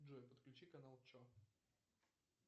джой подключи канал че